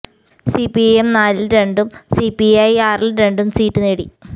C P M നാലില് രണ്ടും C P I ആറില് രണ്ടും സീറ്റ് നേടി